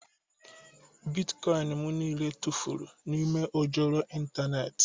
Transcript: Bịtkọin m niile tụfuru n'ime ojoro ịntanetị